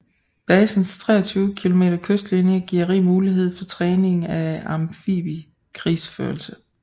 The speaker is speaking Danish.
Basens 23 km kystlinje giver rig mulighed for træning af amfibiekrigsførelse